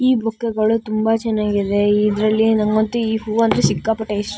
ಈ ಬುಕ್ ಗಳು ತುಂಬಾ ಚೆನ್ನಾಗಿ ಇದೆ ಇದ್ರಲ್ಲಿ ಈ ಹೂ ಅಂತೂ ನನಗೆ ಸಿಕ್ಕಾಪಟ್ಟೆ ಇಷ್ಟ--